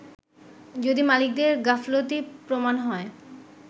যদি মালিকদের গাফলতি প্রমান হয়